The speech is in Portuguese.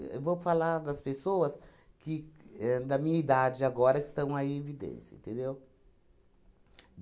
Éh vou falar das pessoas que éh da minha idade agora que estão aí em evidência, entendeu?